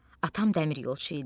Atam dəmiryolçu idi.